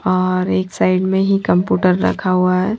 और एक साइड में ही कंप्यूटर रखा हुआ है।